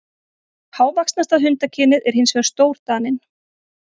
Hávaxnasta hundakynið er hins vegar stórdaninn.